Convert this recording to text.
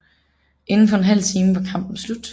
Inden for en halv time var kampen slut